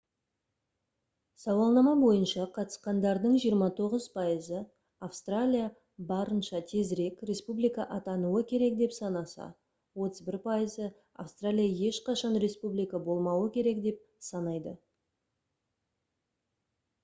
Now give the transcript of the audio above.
сауалнама бойынша қатысқандардың 29 пайызы австралия барынша тезірек республика атануы керек деп санаса 31 пайызы австралия ешқашан республика болмауы керек деп санайды